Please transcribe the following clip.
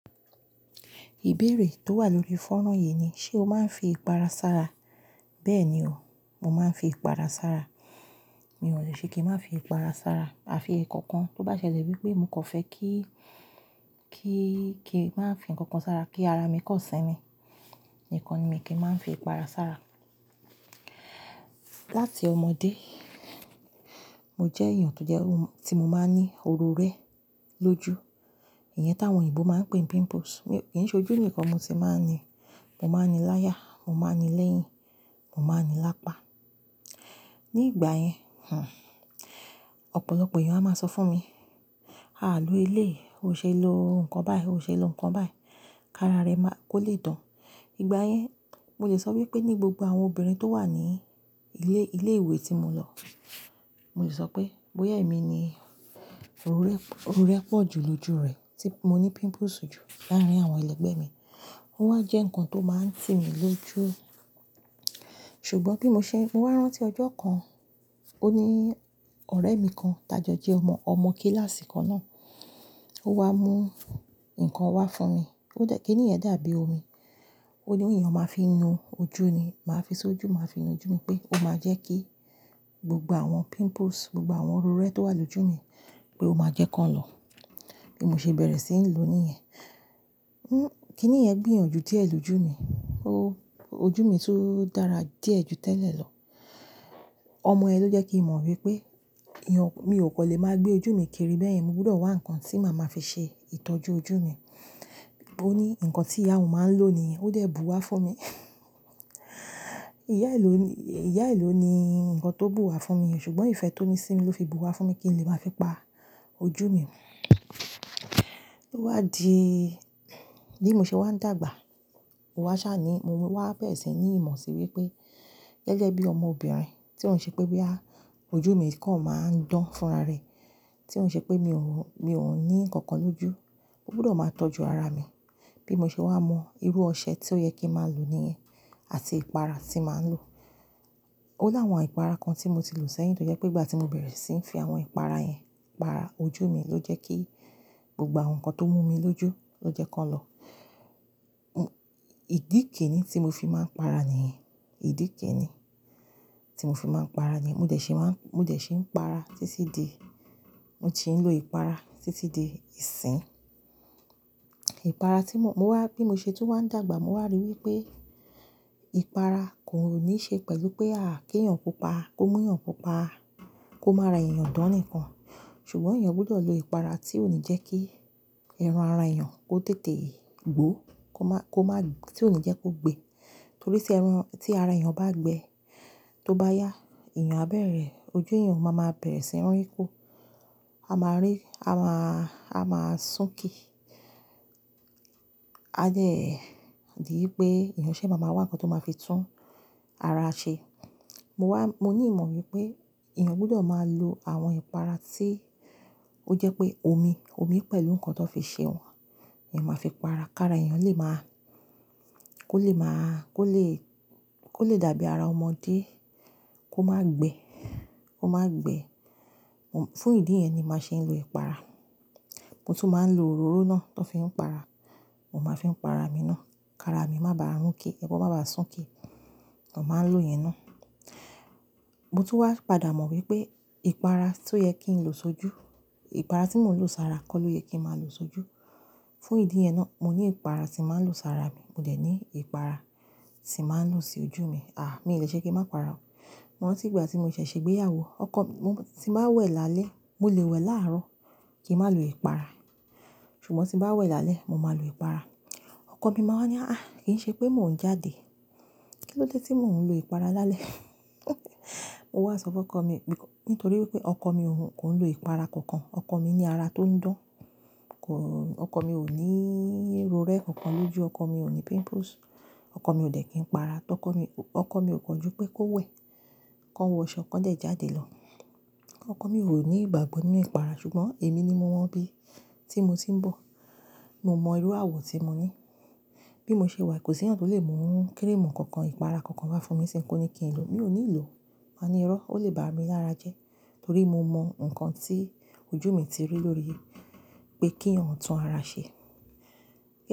Ìbéèrè tó wà lórí fónrán yìí ni, ṣe o máa ń fi ipara sára? Bẹ́ẹ̀ni o, mo máa ń fi ipara sára. Mi ò lè ṣe kí n má fi ipara sára. Afi ẹ̀ kọ̀ọ̀kan tó bá ṣẹlẹ̀ wípé mo kan fẹ́ kí, kí, kí n máa fín kankan sára kí ara mi kọ̀ sínmi. Nìkan ni kí n máa ń fi ipara sára. Láti ọmọdé, mo jẹ́ èèyàn tó jẹ́, tí mo máa ń ní oró rẹ́ lójú. Ìyẹn táwọn òyìnbó máa ń pè pimples. Kì í ṣe ojú nìkan mo ti máa ń ní, mo máa ń ní láyà, mo máa ń ní lẹ́yìn, mo máa ń ní lápá. Ni ìgbà yẹn, oò, ọ̀pọ̀lọpọ̀ èèyàn a máa sọ fún mi, "à ló eléyi, o ṣe lo nǹkan báyìí, o ṣe lo nǹkan báyìí, ká ara rẹ máa kó lè dán." Ìgbà yẹn, mo lè sọ wípé ní gbogbo àwọn obìnrin tó wà ní ilé, ilé ìwé tí mo lọ, mo lè sọ pé bóyá èmi ni oró rẹ́, oró rẹ́ pọ̀ jù lójú rẹ̀ tí mo ní pimples jù láàárín àwọn ẹlẹgbẹ́ mi. Ó wá jẹ́ ǹkan tó máa ń tì mí lójú. Ṣùgbọ́n bí mo ṣe, mo wá rán tí ọjọ́ kan, ó ní ọ̀rẹ́ mi kan, t'ájọ jẹ́ ọmọ, ọmọ kíláàsì kan náà. Ó wá mú ǹkan wá fún mi. Ó jẹ́ kíni yẹ̀n dábi omi. Ó ní eeyan máa ń fi nu ojú ni. Màá fi s'ojú, màá fi nu ojú mi pé ó máa jẹ́ kí gbogbo àwọn pimples, gbogbo àwọn oró rẹ́ tó wà lójú mi pé ó máa jẹ́ kó lọ. Bí mo ṣe bẹ̀rẹ̀ sí ń lò ó ní ẹ̀, ń, kí i ni ẹ̀ gbìyànjú díẹ̀ lójú mi. Ó, ojú mi tun dára díẹ̀ jù tẹ́lẹ̀ lọ. Ọmọ yẹn ló jẹ́ kí n mọ̀ wípé eeyàn, mi ò kan lè máa gbé ojú mi kiri bẹ́ẹ̀ yẹn. Mo gbọdọ̀ wá ǹkan tí màá máa fi ṣe ìtọ́jú ojú mi. Ó ní ǹkan tí ìyá òun máa ń lò ni ó dé bu wá fún mi. Ìyá ìlú ni, ìyá ìlú ni ǹkan tó bù wá fún mi, ṣùgbọ́n ìfẹ́ tó ní sí mi ló fi bu wá fún mi kí n lè máa fi pa ojú mi. Ó wá di, bí mo ṣe wá ń dàgbà, mó wá sá ni mo wá bẹ̀rẹ̀ sí ní ìmọ̀ sí wípé gẹ́gẹ́ bí ọmọbìnrin tí ò ń ṣe pé bí à ojú mi kọ̀ máa ń dán fúnra rẹ̀, tí ò ń ṣe pé mi ò wù, mi ò ní ǹkan kan lójú, mó gbọdọ̀ máa tọ́jú ara mi. Bí mo ṣe wá mọ irú ọṣẹ tí ó yẹ kí n máa lò ní ìyẹn àti ìpara tí màá ń lò. Ó láwọn ìpara kan tí mo ti lò sẹ́yìn tó jẹ́ pé ìgbà tí mo bẹ̀rẹ̀ sí ń fi àwọn ìpara yẹn para ojú mi ló jẹ́ kí gbogbo àwọn ǹkan tó mú mi lójú ló jẹ́ kó lọ. Ò, ìdíì kini tí mo fi máa ń para nìyẹn. Ìdíìkè ni tí mo fi máa ń para nìyẹn. Mo dẹ̀ sí máa ń, mo dẹ̀ sí ń para títí di, mo ti ń lò ìpara títí di ìsín. Ìpara tí mò, mo wá, bí mo ṣe tó wá ń dàgbà mo wá ríi wípé ìpara kò ní ṣe pẹ̀lú pé à kí èèyàn pupa, kó mú èèyàn pupa, kó má ra èèyàn dán nìkan. Ṣùgbọ́n èèyàn gbọdọ̀ lo ìpara tí ò ní jẹ́ kí irun ara èèyàn kó tètè gbó, kó má, kó má, tí ò ní jẹ́ kó gbe. Torí tí ẹran, tí ara èèyàn bá gbe, tó bá yá, èèyàn á bẹ̀rẹ̀, ojú èèyàn máa ma bẹ̀rẹ̀ sí ń rún kú. A máa rí, a má, a máa sunkí. A dẹ́, di wípé èèyàn ṣé máa ma wá ǹkan tó máa fi tún ara ṣe. Mo wá, mo ní ìmọ̀ wípé èèyàn gbọdọ̀ máa lo àwọn ìpara tí ó jẹ́ pé omi, omi pẹ̀lú ǹkan tó fi ṣe wọ́n. Èèyàn máa fi para, ká ara èèyàn lè máa, kó lè máa, kó lè, kó lè dàbí ara ọmọdé, kó má gbe, kó má gbe. Mo, fún ìdí yẹn ni màá ṣe ń lo ìpara. Mo tún máa ń lo òróró náà tó fi ń para. Mo máa fi ń para mi náà. Ká ara mi má bàa run ké, ẹbọ má bàa sunkí. Mo máa ń lò ìyẹn náà. Mo tún wá padà mọ̀ wípé ìpara tó yẹ kí n lo s'ojú, ìpara tí mò ń lò sára kọ́ ló yẹ kí màá lo s'ojú. Fún ìdí yẹn náà, mo ní ìpara tí màá ń lò sára mi, mo dẹ̀ ní ìpara tí màá ń lò sí ojú mi. Àà, mi ò lè ṣe kí n má para o. Mo rántí ìgbà tí mo ṣẹ̀ ṣe ìgbéyàwó, ọkọ mi, mo tí màá wẹ̀ lálẹ́, mò lè wẹ̀ láàrọ́ kí n má lo ìpara. Ṣùgbọ́n tí màá wẹ̀ lálẹ́, mo máa lo ìpara. Ọkọ mi máa wá ní, "àh, kí í ṣe pé mò ń jáde. Kí ló dé tí mò ń lo ìpara lálẹ́?" Mo wá sọ fún ọkọ mi pé nítorí wípé ọkọ mi ò, kò ń lo ìpara kankan. Ọkọ mi ní ara tó ń dán. Kò, ọkọ mi ò ní irú oró rẹ́ kankan lójú, ọkọ mi ò ní pimples. Ọkọ mi ò dẹ̀ kí n para. Tọ́kọ mi, ọkọ mi ò kọjú pé kó wẹ̀, kan wọṣọ kán dẹ̀ jáde lọ. Ọkọ mi ò ní ìgbàgbọ nínú ìpara, ṣùgbọ́n èmi ni mo mọ́ bí. Tí mo tì ń bọ̀, mo mọ irú àwọ̀ tí mo ní. Bí mo ṣe wà, kò sí ẹ̀yàn tó lè mú kí n mú kankan ìpara kankan wá fún mi sín ko ní kí n lo. Mi ò nílò. Màá ní irọ́, ó lè ba à mi lára jẹ́. Torí mo mọ ǹkan tí ojú mi ti rí lórí pé k'eeyan tún ara ṣe.